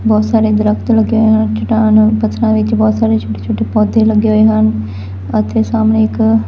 ਬਹੁਤ ਸਾਰੇ ਦਰਖਤ ਲੱਗੇ ਹੋਏ ਹਨ ਚੱਟਾਨ ਔਰ ਪੱਥਰਾਂ ਵਿੱਚ ਬਹੁਤ ਸਾਰੇ ਛੋਟੇ-ਛੋਟੇ ਪੌਧੇ ਲੱਗੇ ਹੋਏ ਹਨ ਅਤੇ ਸਹਮਣੇ ਇੱਕ --